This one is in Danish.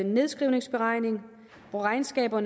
nedskrivningsberegning og regnskaber